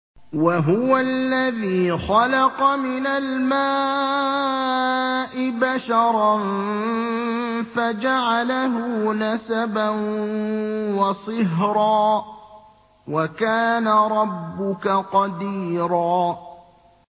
وَهُوَ الَّذِي خَلَقَ مِنَ الْمَاءِ بَشَرًا فَجَعَلَهُ نَسَبًا وَصِهْرًا ۗ وَكَانَ رَبُّكَ قَدِيرًا